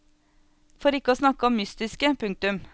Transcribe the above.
For ikke å snakke om mystiske. punktum